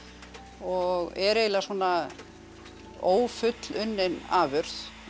og er eiginlega svona ófullunnin afurð